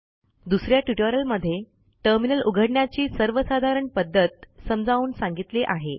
दुस या ट्युटोरियलमध्ये टर्मिनल उघडण्याची सर्वसाधारण पध्दत समजावून सांगितली आहे